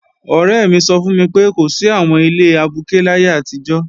Ọ̀rẹ́ mi sọ fún mi pé, kò sí àwọn ilé abuké láyé àtijọ́